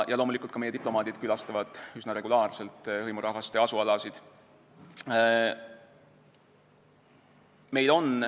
Loomulikult külastavad meie diplomaadid üsna regulaarselt ka hõimurahvaste asualasid.